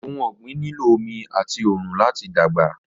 Ọhun ọ̀gbin nílọ̀ ọmì atì oòrun lati dágba.